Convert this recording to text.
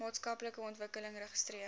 maatskaplike ontwikkeling registreer